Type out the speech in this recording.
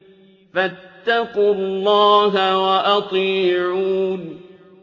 فَاتَّقُوا اللَّهَ وَأَطِيعُونِ